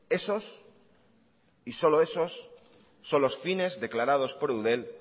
esos y solo esos son los fines declarados por eudel